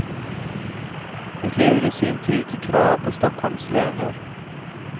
Det leder i sin tur till krav på stockholmslöner.